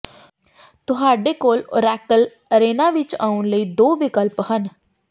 ਤੁਹਾਡੇ ਕੋਲ Oracle Arena ਵਿੱਚ ਆਉਣ ਲਈ ਦੋ ਵਿਕਲਪ ਹਨ